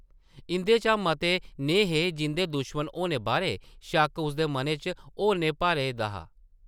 इंʼदे चा मते नेह् हे जिंʼदे दुश्मन होनै बारै शक्क उसदे मनै च होरनैं भरे दा हा ।